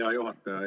Hea juhataja!